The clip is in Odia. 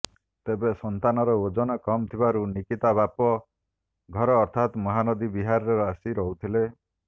ତେବେ ସନ୍ତାନର ଓଜନ କମ୍ ଥିବାରୁ ନିକିତା ବାପ ଘର ଅର୍ଥାତ୍ ମହାନଦୀ ବିହାରରେ ଆସି ରହୁଥିଲେ